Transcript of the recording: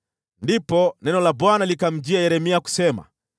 Ndipo neno la Bwana likamjia Yeremia kusema: